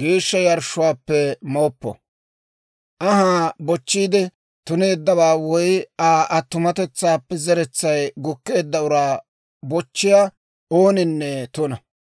geeshsha yarshshuwaappe mooppo. Anhaa bochchiide tuneeddawaa woy Aa attumatetsaappe zeretsay gukkeedda uraa bochchiyaa ooninne tuna.